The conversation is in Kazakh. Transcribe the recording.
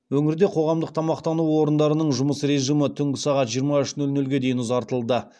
өңірде қоғамдық тамақтану орындарының жұмыс режимі түнгі сағат жиырма үш нөл нөлге дейін ұзартылды